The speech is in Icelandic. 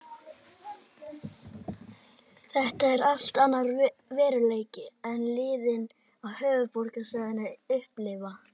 Þetta er allt annar veruleiki en liðin á höfuðborgarsvæðinu upplifa.